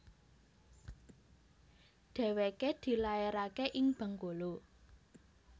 Dèwèké dilaeraké ing Bengkulu